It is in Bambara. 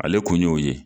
Ale kun y'o ye